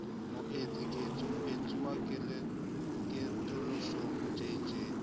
moetsi ketso moetsuwa katoloso jj